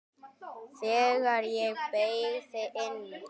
Þegar ég beygði inn